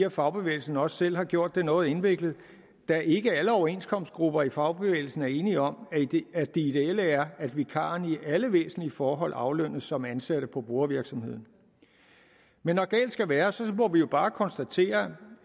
at fagbevægelsen også selv har gjort det noget indviklet da ikke alle overenskomstgrupper i fagbevægelsen er enige om at det ideelle er at vikarerne i alle væsentlige forhold aflønnes som ansatte på brugervirksomheden men når galt skal være må vi jo bare konstatere